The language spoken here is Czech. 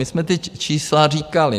My jsme ta čísla říkali.